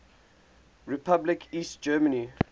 republic east germany